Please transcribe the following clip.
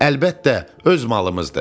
Əlbəttə, öz malımızdır.